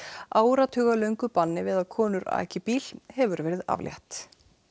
áratugalöngu banni við að konur aki bíl hefur verið aflétt